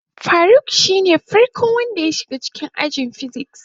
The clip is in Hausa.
Faruk shine farko wanda yake shiga ajin "physics".